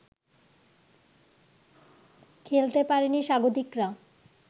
খেলতে পারেনি স্বাগতিকরা